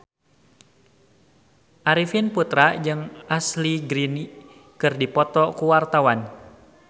Arifin Putra jeung Ashley Greene keur dipoto ku wartawan